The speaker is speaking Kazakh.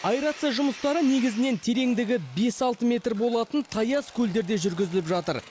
аэрация жұмыстары негізінен тереңдігі бес алты метр болатын таяз көлдерде жүрзіліп жатыр